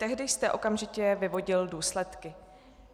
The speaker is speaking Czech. Tehdy jste okamžitě vyvodil důsledky.